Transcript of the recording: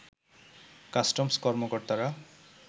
customs কর্মকর্তারা